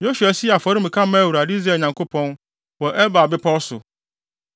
Yosua sii afɔremuka maa Awurade, Israel Nyankopɔn, wɔ Ebal bepɔw so.